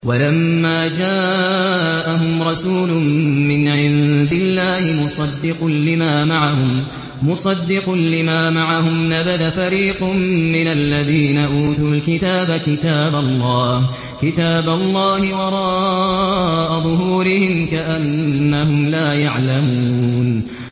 وَلَمَّا جَاءَهُمْ رَسُولٌ مِّنْ عِندِ اللَّهِ مُصَدِّقٌ لِّمَا مَعَهُمْ نَبَذَ فَرِيقٌ مِّنَ الَّذِينَ أُوتُوا الْكِتَابَ كِتَابَ اللَّهِ وَرَاءَ ظُهُورِهِمْ كَأَنَّهُمْ لَا يَعْلَمُونَ